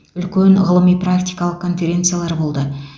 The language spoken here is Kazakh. үлкен ғылыми практикалық конференциялар болды